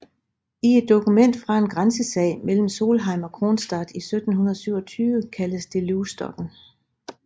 I et dokument fra en grænsesag mellem Solheim og Kronstad i 1727 kaldes det Loustokken